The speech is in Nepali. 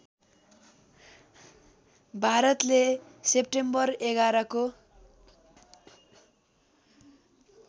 भारतले सेप्टेम्बर ११ को